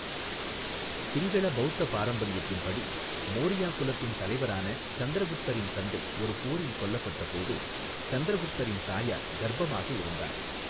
சிங்கள பௌத்த பாரம்பரியத்தின் படி, மோரியா குலத்தின் தலைவரான சந்திரகுப்தரின் தந்தை ஒரு போரில் கொல்லப்பட்டபோது சந்திரகுப்தரின் தாயார் கர்ப்பமாக இருந்தார்.